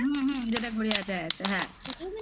হুম হুম যেটা গড়িয়াহাটে আছে. হ্যাঁ.